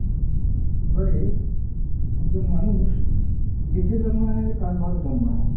এবারে একজন মানুষ বেছে জন্মায় না যে কার ঘরে জন্মাবে।